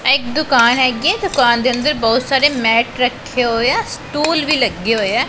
ਇਹ ਇੱਕ ਦੁਕਾਨ ਹਿਗੀਆ ਦੁਕਾਨ ਦੇ ਅੰਦਰ ਬਹੁਤ ਸਾਰੇ ਮੈਟ ਰੱਖੇ ਹੋਇਆ ਸਟੂਲ ਵੀ ਲੱਗੇ ਹੋਇਆ।